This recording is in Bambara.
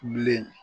Bilen